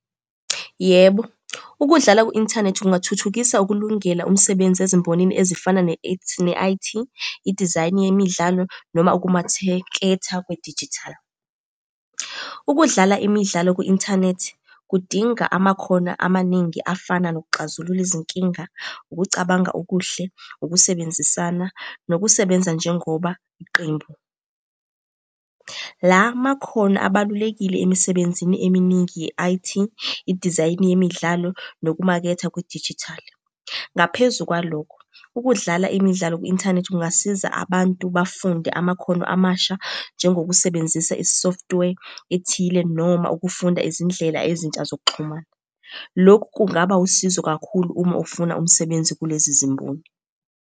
Yebo, ukudlala ku-inthanethi kungathuthukisa ukulungela umsebenzi ezimbonini ezifana ne-I_T, idizayini yemidlalo noma ukumatheketha kwedijithali. Ukudlala imidlalo kwi-inthanethi kudinga amakhono amaningi afana nokuxazulula izinkinga, ukucabanga okuhle, ukusebenzisana, nokusebenza njengoba iqembu. La makhono abalulekile emisebenzini eminingi ye-I_T, idizayini yemidlalo nokumaketha kwedijithali. Ngaphezu kwalokho, ukudlala imidlalo kwi-inthanethi kungasiza abantu bafunde amakhono amasha, njengokusebenzisa i-software ethile noma ukufunda izindlela ezintsha zokuxhumana. Lokhu kungaba wusizo kakhulu uma ufuna umsebenzi kulezi zimboni.